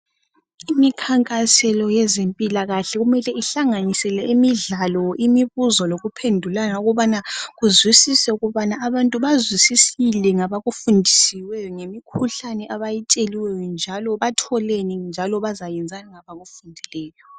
Imikhankaselo yezempilakahle kumele ihlanganisele imidlalo, imibuzo lokuphendulana ukubana kuzwisiswe ukubana abantu bazwisisile ngabakufundisiweyo ngemikhuhlane abayitsheliweyo njalo batholeni njalo bazayenzani ngabakufundileyo.